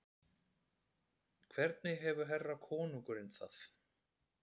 Hvernig hefur herra konungurinn það?